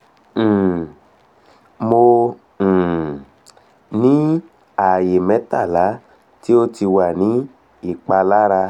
um mo um ni aaye metala ti o ti wa ni ipalara